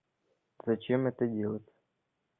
зачем это делать